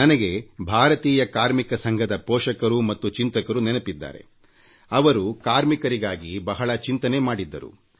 ನನಗೆ ಭಾರತೀಯ ಕಾರ್ಮಿಕ ಸಂಘದ ಪೋಷಕರು ಮತ್ತು ಚಿಂತಕರು ನೆನಪಿದ್ದಾರೆ ಅವರು ಕಾರ್ಮಿಕರಿಗಾಗಿ ಬಹಳ ಚಿಂತನೆ ಮಾಡಿದ್ದರು